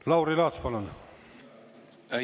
Lauri Laats, palun!